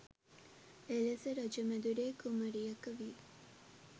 එලෙස රජ මැදුරේ කුමරියක වී